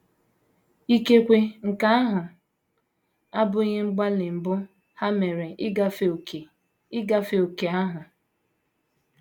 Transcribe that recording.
Ikekwe nke ahụ abụghị mgbalị mbụ ha mere ịgafe ókè ịgafe ókè ahụ.